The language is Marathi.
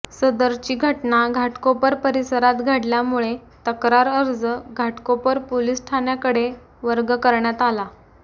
सदरची घटना घाटकोपर परिसरात घडल्यामुळे तक्रार अर्ज घाटकोपर पोलीस ठाण्याकडे वर्ग करण्यात आला